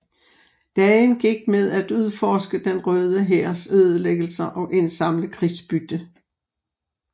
Dagen gik med at udforske den Røde Hærs ødelæggelser og indsamle krigsbytte